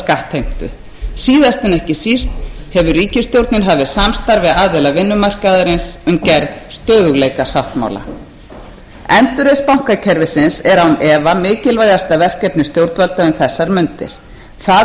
skattheimtu síðast en ekki síst hefur ríkisstjórnin hafið samstarf við aðila vinnumarkaðarins um gerð stöðugleikasáttmála endurreisn bankakerfisins er án efa mikilvægasta verkefni stjórnvalda um þessar mundir það